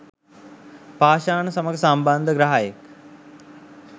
පාෂාණ සමඟ සම්බන්ධ ග්‍රහයෙක්.